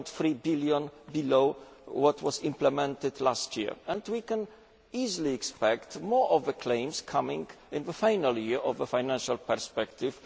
2.3 billion below what was implemented last year, and we can easily expect more claims coming in the final year of the financial perspective.